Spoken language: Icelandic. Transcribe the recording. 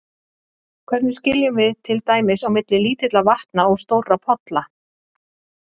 Hvernig skiljum við til dæmis á milli lítilla vatna og stórra polla?